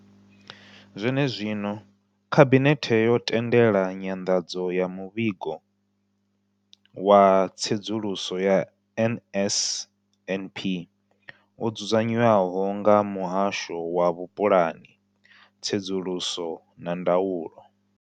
Zwenezwino, Khabinethe yo tendela nyanḓadzo ya Muvhigo wa Tsedzuluso ya NSNP wo dzudzanywaho nga Muhasho wa Vhupulani, Tsedzuluso na Ndaulo.